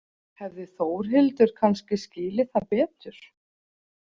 Hefði Þórhildur kannski skilið það betur?